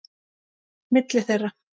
Milli þeirra